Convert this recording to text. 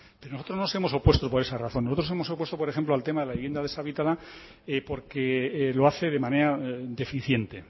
pero nosotros no nos hemos opuesto por esa razón nosotros nos hemos opuesto por ejemplo al tema de la vivienda deshabitada porque lo hace de manera deficiente